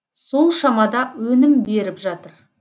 сол шамада өнім беріп жатыр